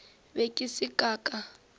be ke sa ka ka